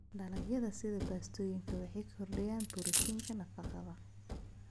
Dalagyada sida baastooyinka waxay kordhiyaan borotiinka nafaqada.